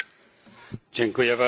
Panie Przewodniczący!